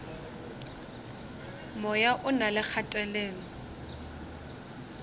moya o na le kgatelelo